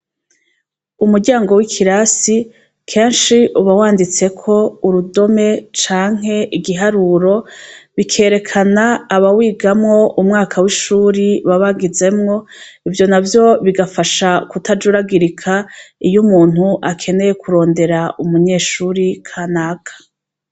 Umuryango w'ikirasi kenshi uba wanditseko urudome canke igiharuro, bikerekana abawigamwo, umwaka w'ishure baba bagezemwo. Ivyo navyo bigafasha kutajuragirika iyo umuntu akeneye kurondera umunyeshure kanaka.